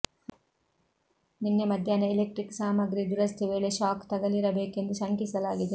ನಿನ್ನೆ ಮಧ್ಯಾಹ್ನ ಇಲೆಕ್ಟ್ರಿಕ್ ಸಾಮಗ್ರಿ ದುರಸ್ತಿ ವೇಳೆ ಶಾಕ್ ತಗಲಿರಬೇಕೆಂದು ಶಂಕಿಸಲಾಗಿದೆ